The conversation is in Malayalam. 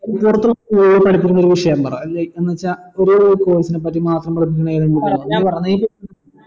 school കളിൽ പഠിപ്പിക്കുന്ന ഒരു വിഷയം പറ എന്ന് വെച്ച ഒരു course നെ പറ്റി മാത്രം